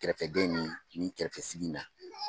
Kɛrɛfɛdɛn ni nin kɛrɛfɛsigi in na.